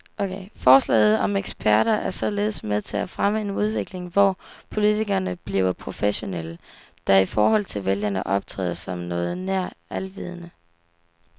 Forslaget om eksperter er således med til at fremme en udvikling, hvor politikerne bliver professionelle, der i forhold til vælgerne optræder som noget nær alvidende.